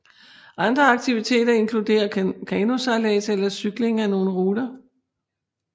Andre aktiviteter inkluderer kanosejlads eller cykling af nogle ruter